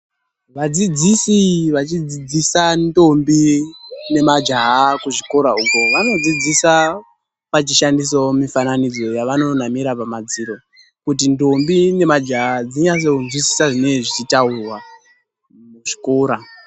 Vadzidzisi vachidzidzisa mandombi nemajaha kuzvikora uko, vanodzidzisa vachishandisawo mifananidzo yavanonamira pamadziro kuti ndombi nemajaha dzinyatsinzwisisa zvinenge zvichitaurwa muzvikora.